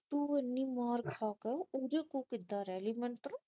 ਤੂੰ ਇਹਨੀ ਮਾਰ ਖਾ ਕੇ ਏਦੇ ਕੋ ਕਿਦਾਂ ਰਹਿ ਗਈ ਮੈਨੂੰ ਤਾ